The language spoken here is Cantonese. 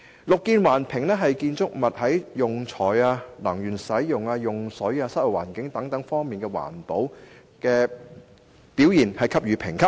"綠建環評"就建築物在用材、能源使用、用水、室內環境質素等方面給予不同評級。